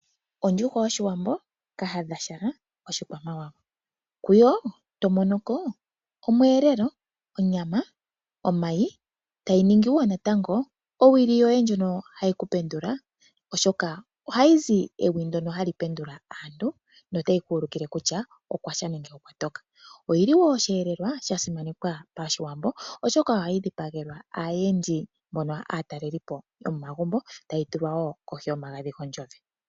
Ondjuhwa yOshiwambo, kahadhagumbo, oshikwamawawa. Kuyo oto mono ko omweelelo, onyama, omayi, tayi ningi wo owili yoye yoku ku pendula, oshoka ohayi zi ewi ndyoka ha li pendula aantu notayi ku ululile kutya okwa sha nenge okwa toka. Oyi li wo osheelelwa sha simanekwa Pashiwambo, oshoka ohayi dhipagelwa aayendi mbono aatalelipo yomomagumbo tayi tulwa wo kohi yonzowe.